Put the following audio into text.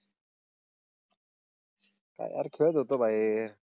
काय यार खेळत होतो आहे.